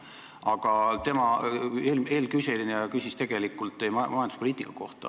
Aga eelküsija küsis teie majanduspoliitika kohta.